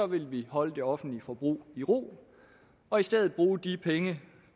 vil vi holde det offentlige forbrug i ro og i stedet bruge de penge